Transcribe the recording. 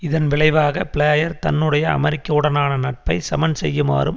இதன் விளைவாக பிளேயர் தன்னுடைய அமெரிக்காவுடனான நட்பைச் சமன்செய்யுமாறும்